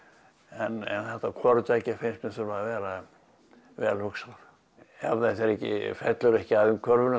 en þetta hvoru tveggja finnst mér þurfa að vera vel hugsað ef þetta fellur ekki að umhverfinu